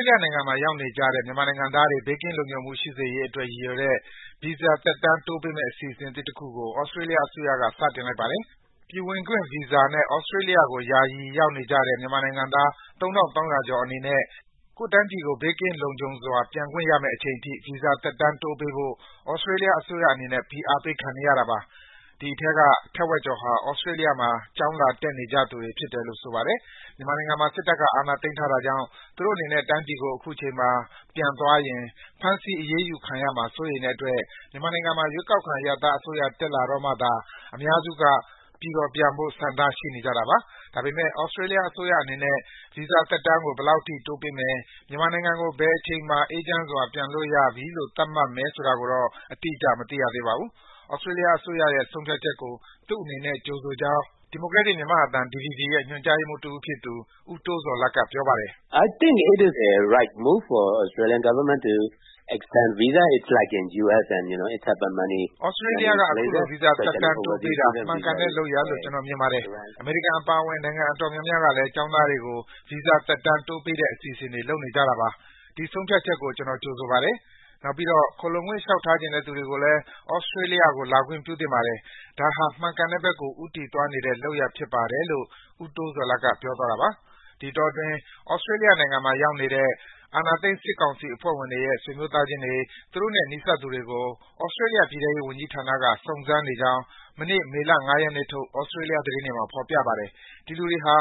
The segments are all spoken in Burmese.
းလျနိုင်ငံမှာ ရောက်နေကြတဲ့ မြန်မာနိုင်ငံသားတွေ ဘေးကင်းလုံခြုံမှု ရှိစေရေးအတွက် ရည်ရွယ်တဲ့ ဗီဇာသက်တမ်း တိုးပေးမယ့်အစီအစဉ်သစ်တခုကို သြစတြေးလျအစိုးရက စတင်လိုက်ပါတယ်။ ပြည်ဝင်ခွင့်ဗီဇာနဲ့ သြစတြေးလျကို ယာယီ ရောက်နေကြတဲ့ မြန်မာနိုင်ငံသား ၃,၃၀၀ ကျော်အနေနဲ့ ကိုယ့်တိုင်းပြည်ကို ဘေးကင်းလုံခြုံစွာ ပြန်ခွင့်ရမယ့်အချိန်အထိ ဗီဇာသက်တမ်းတိုးပေးဖို့ သြစတြေးလျအစိုးရအနေနဲ့ ဖိအားပေးခံနေရတာပါ။ ဒီအထဲက ထက်ဝက်ကျော်ဟာ သြစတြေးလျမှာ ကျောင်းလာတက်နေကြသူတွေ ဖြစ်တယ်လို့ ဆိုပါတယ်။ မြန်မာနိုင်ငံမှာ စစ်တပ်က အာဏာသိမ်းထားတာကြောင့် သူတို့အနေနဲ့ တိုင်းပြည်ကို အခုချိန်မှာပြန်သွားရင် ဖမ်းဆီးအရေးယူခံရမှာ စိုးရိမ်တဲ့အတွက် မြန်မာနိုင်ငံမှာ ရွေးကောက်ခံ အရပ်သားအစိုးရ တက်လာတော့မှ အများစုက ပြည်တော်ပြန်ဖို့ ဆန္ဒရှိနေကြတာပါ။ ဒါပေမဲ့ သြစတြေးလျအစိုးရအနေနဲ့ ဗီဇာသက်တမ်းကို ဘယ်လောက်အထိ တိုးပေးမယ်၊ မြန်မာနိုင်ငံကို ဘယ်အချိန်မှာ အေးချမ်းစွာ ပြန်လို့ရပြီလို့ သတ်မှတ်မယ်ဆိုတာတော့ အတိအကျ မသိရသေးပါဘူး။ သြစတြေးလျအစိုးရရဲ့ ဆုံးဖြတ်ချက်ကို သူ့အနေနဲ့ ကြိုဆိုကြောင်း ဒီမိုကရက်တစ် မြန်မာ့အသံ DVB ရဲ့ ညွန်ကြားရေးမှူးတဦးဖြစ်သူ ဦးတိုးဇော်လတ်က ပြောပါတယ်။ “သြစတြေးလျက အခုလို ဗီဇာသက်တမ်းတိုးပေးတာ မှန်ကန်တဲ့လုပ်ရပ်လို့ ကျနော်မြင်ပါတယ်။ အမေရိကန်အပါအဝင် နိုင်ငံအတော်များများကလည်း ကျောင်းသားတွေကို ဗီဇာသက်တမ်းတိုးပေးတဲ့အစီအစဉ်တွေ လုပ်နေကြတာပါ။ ဒီ ဆုံးဖြတ်ချက်ကို ကျနော် ကြိုဆိုပါတယ်။ နောက်ပြီးတော့ ခိုလှုံခွင့်လျှောက်ထားချင်တဲ့သူတွေကိုလည်း သြစတြေးလျကို ဝင်လာခွင့်ပြုသင့်ပါတယ်။ ဒါဟာ မှန်ကန်တဲ့ဘက်ကို ဦးတည်သွားနေတဲ့လုပ်ရပ်ဖြစ်ပါတယ်။” လို့ ဦးတိုးဇော်လတ်က ပြောပါတယ်။ ဒီအတောအတွင်း သြစတြေးလျနိုင်ငံမှာ ရောက်နေတဲ့ အာဏာသိမ်းစစ်ကောင်စီအဖွဲ့ဝင်တွေရဲ့ ဆွေမျိုးသားချင်းတွေ၊ သူတို့နဲ့ နီးစပ်သူတွေကို သြစတြေးလျ ပြည်ထဲရေးဝန်ကြီးဌာနက စုံစမ်းနေကြောင်း မနေ့ မေလ ၅ ရက်နေ့ထုတ် သြစတြေးလျသတင်းတွေမှာ ဖော်ပြပါတယ်။ ဒီလူတွေဟာ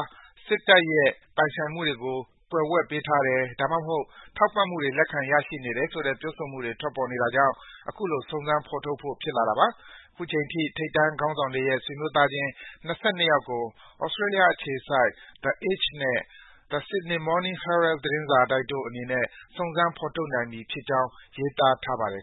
စစ်တပ်ရဲ့ ပိုင်ဆိုင်မှုတွေကို ကွယ်ဝှက်ပေးထားတယ်။ ဒါမှမဟုတ် ထောက်ပံ့မှုတွေ လက်ခံရရှိနေတယ်ဆိုတဲ့ ပြောဆိုမှုတွေ ထွက်ပေါ်နေတာကြောင့် အခုလို စုံစမ်း ဖော်ထုတ်ဖို့ ဖြစ်လာတာပါ။ အခုချိန်ထိ ထိပ်တန်း စစ်ခေါင်းဆောင်တွေရဲ့ ဆွေမျိုးသားချင်း ၂၂ ယောက်ကို သြစတြေးလျအခြေစိုက် The Age နဲ့ The Sydney Morning Herald သတင်းစာတိုက်တို့အနေနဲ့ စုံစမ်း ဖော်ထုတ်နိုင်ပြီဖြစ်ကြောင်း ရေးသားထားပါတယ်